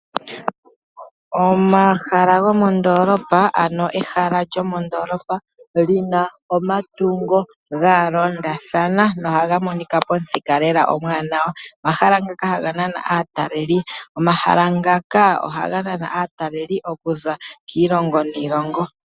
Omahala gomondoolopa ano ehala lyomodoolopa lina omatungo ga londathana nohaga monika lela pamuthika lela omwaanawa. Omahala ngoka ohaga nana aataleli. Omahala ngaka ohaga nana aataleli okuza kiilongo niilongo.